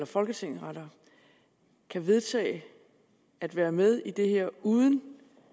folketinget kan vedtage at være med i det her uden